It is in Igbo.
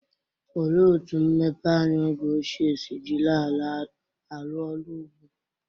Olee otú mmepeanya oge ochie si jiri ala arụ ọrụ ugbo?